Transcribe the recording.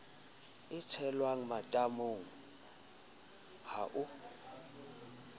e tshelwang matamong a ho